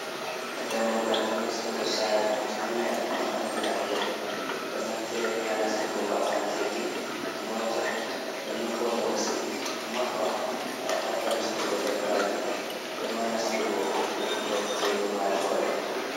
dDammugal nastugo sare mangal ɗum andira get, ɗo naftire haa nastugo ba’anteji mota, nonon bo to nasti maɓɓa gam fadda nastugo dabbaji ema nastugo wurto je ummatore.